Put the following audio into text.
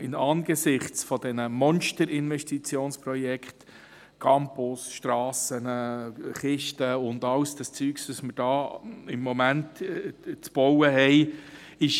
Angesichts dieser Monsterinvestitionen, wie Campus, Strassen und andere Kisten, ist es uns schon seit längerer Zeit unwohl.